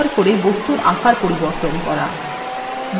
হাতল গুলি ব্যবহার re বস্তুর আকার পরিবর্তন re